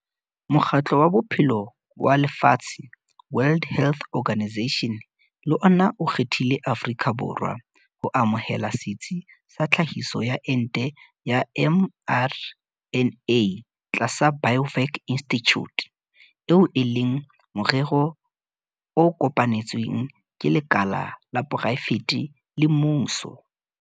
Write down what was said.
Mokgatlo wa Bophelo wa Lefatshe, WHO, le ona o kgethile Afrika Borwa ho amohela setsi sa tlhahiso ya ente ya mRNA tlasa Biovac Institute, eo e leng morero o kopanetsweng ke lekala la poraefete le mmuso.